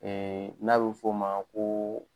Ɛɛ n'a be f'o ma ko